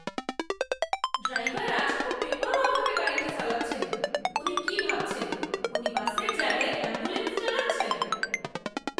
Driver আজ খুব বেপরোয়াভাবে গাড়িটা চালাচ্ছেন। উনি কি ভাবছেন, উনি বাসের জায়গায় অ্যাম্বুলেন্স চালাচ্ছেন?